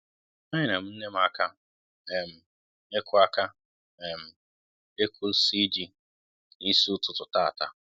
é nyèrè m nne m aka um ịkụ aka um ịkụ isi ji n'isi ụtụtụ tàata